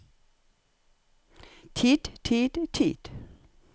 tid tid tid